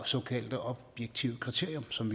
såkaldt objektive kriterium som